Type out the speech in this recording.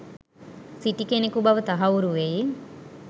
සිටි කෙනකු බව තහවුරු වෙයි.